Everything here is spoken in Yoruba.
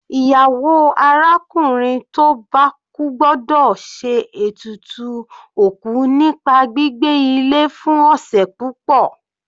Ìyàwó arákùnrin tó bá kú gbọ́dọ̀ ṣe ètùtù òkú nípa gbígbé ilé fún ọ̀sẹ̀ púpọ̀.